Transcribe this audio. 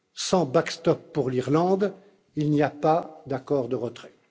Sans cette solution pour l'Irlande, il n'y a pas d'accord de retrait.